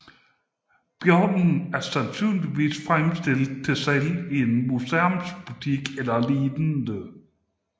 Bjørnen er sandsynligvis fremstillet til salg i en museumsbutik eller lignende